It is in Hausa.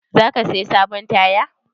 Za ka saya sabon taya?